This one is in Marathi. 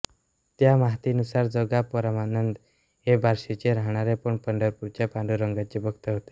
त्या माहितीनुसार जोगा परमानंद हे बार्शीचे राहणारे पण पंढरपूरच्या पांडुरंगाचे भक्त होते